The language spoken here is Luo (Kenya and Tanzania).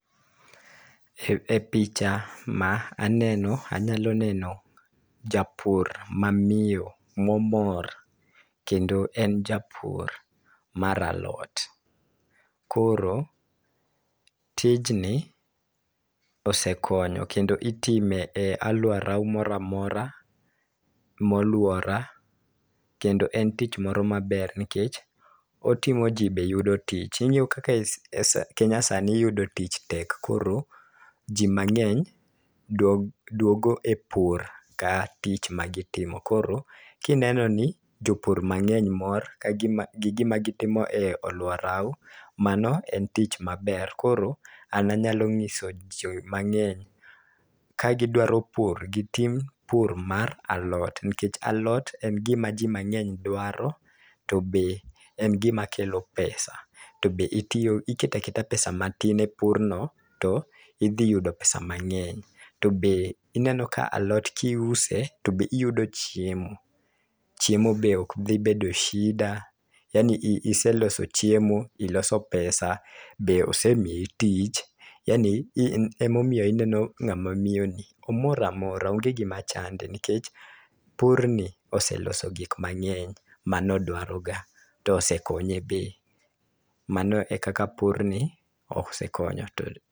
E picha ma aneno anyalo neno japur mamiyo, momor kendo en japur mar alot. Koro tijni osekonyo kendo itime e aluora moramora moluora kendo en tich moro maber nikech ,otimo jii be yudo tich. Ing'eyo kaka kenya sani yudo tich tek koro jii mang'eny duog duogo e pur ka tich ma gitimo .Koro kineno ni jopur mang'eny mor ka gima gi gima gitimo e aluorau mano en tich maber. Koro an anyalo ng'iso jomang'eny ka gidwaro pur gitim pur mar alot nikech alot en gima jii mang'eny dwaro to be en gima kelo pesa . To be itiyo iketaketa pesa matin e purno to idhi yudo pesa mang'eny to be ineno ka alot kiuse to be iyudo chiemo .Chiemo be ok dhi bedo shida yaani iseloso chiemo iloso pesa be osemiyi tich, yaani in emomiyo ineno ng'ama miyo ni omoro maora onge gima chande nikech pur ni oseloso gik mang'eny manodwaro ga tosekonye be. Mano e kaka pur ni osekonyo to